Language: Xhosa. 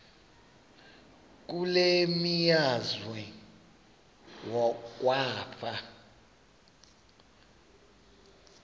kule meazwe kwafa